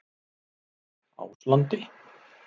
Áslandi